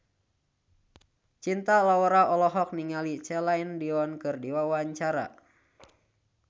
Cinta Laura olohok ningali Celine Dion keur diwawancara